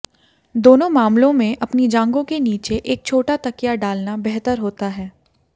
दोनों मामलों में अपनी जांघों के नीचे एक छोटा तकिया डालना बेहतर होता है